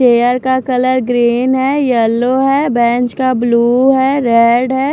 Chair का colour green है yellow है बेंच का ब्लू है रेड है।